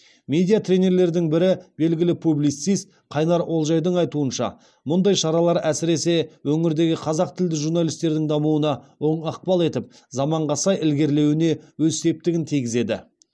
медиа тренерлердің бірі белгілі публицист қайнар олжайдың айтуынша мұндай шаралар әсіресе өңірдегі қазақ тілді журналистердің дамуына оң ықпал етіп заманға сай ілгерлеуіне өз септігін тигізеді